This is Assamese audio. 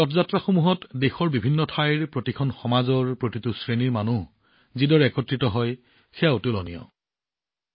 এই ৰথযাত্ৰাসমূহত দেশৰ বিভিন্ন প্ৰান্তৰ প্ৰতিটো সমাজ আৰু প্ৰতিটো শ্ৰেণীৰ লোক যিদৰে উপস্থিত হয় সেয়া সঁচাকৈয়ে আদৰ্শ